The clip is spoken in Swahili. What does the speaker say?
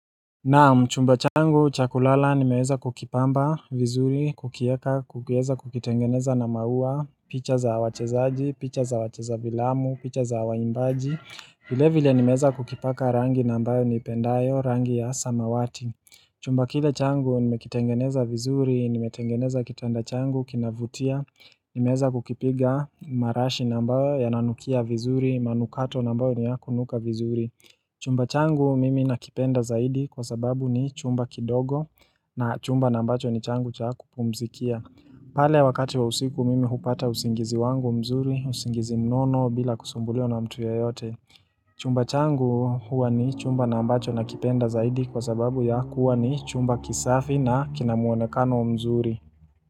Naam chumba changu cha kulala nimeweza kukipamba vizuri, kukieka, kukiweza kukitengeneza na maua, picha za wachezaji, picha za wacheza filamu, picha za waimbaji vile vile nimeweza kukipaka rangi na ambayo niipendayo, rangi ya samawati Chumba kile changu nimekitengeneza vizuri, nimetengeneza kitanda changu, kinavutia, nimeweza kukipiga marashi na ambayo yananukia vizuri, manukato na ambayo ni ya kunuka vizuri Chumba changu mimi nakipenda zaidi kwa sababu ni chumba kidogo na chumba na ambacho ni changu cha kupumzikia pale wakati wa usiku mimi hupata usingizi wangu mzuri, usingizi mnono bila kusumbuliwa na mtu yeyote Chumba changu huwa ni chumba na ambacho nakipenda zaidi kwa sababu ya kuwa ni chumba kisafi na kinamuonekano mzuri.